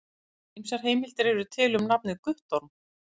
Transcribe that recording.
Ýmsar heimildir eru til um nafnið Guttorm.